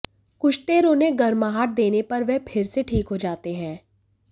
कुछ देर उन्हें गर्माहट देने पर वे फिर से ठीक हो जाते हैं